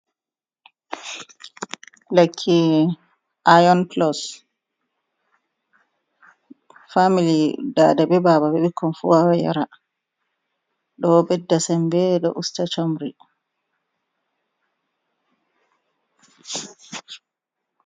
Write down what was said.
Lekki Aayon-pilus, faamili daada bee baaba bee bikkon fuu wawan yara ɗo ɗedda semmbe ɗo usta comri.